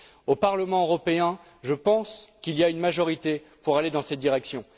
Au Parlement européen, je pense qu'il y a une majorité pour aller dans cette direction.